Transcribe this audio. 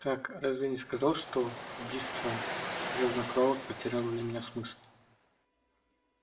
как разве я не сказал что убийство грязнокровок потеряло для меня смысл